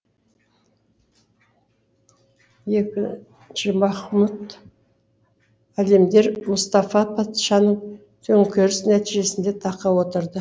екінші махмұт әлемдер мұстафа патшаның төңкерісі нәтижесінде таққа отырды